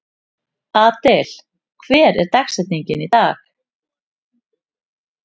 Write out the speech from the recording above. Adel, hver er dagsetningin í dag?